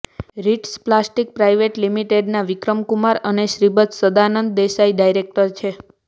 Ritz plastic private લિમિટેડમાં વિક્રમ કુમાર અને Shripad Sadanand Desai director છે